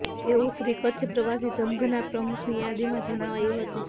તેવું શ્રી કચ્છ પ્રવાસી સંઘના પ્રમુખની યાદીમાં જણાવાયું હતું